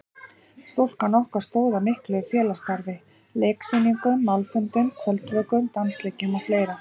Stúkan okkar stóð að miklu félagsstarfi: Leiksýningum, málfundum, kvöldvökum, dansleikjum og fleira.